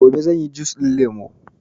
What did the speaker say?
sai gobe zanyi jus ɗin lemo